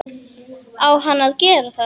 Á hann að gera það?